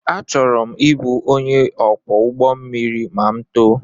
Achọrọ m ịbụ onye ọkwọ ụgbọ mmiri ma m too